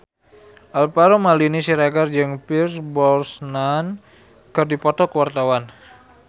Alvaro Maldini Siregar jeung Pierce Brosnan keur dipoto ku wartawan